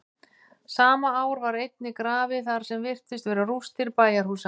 sama ár var einnig grafið þar sem virtust vera rústir bæjarhúsa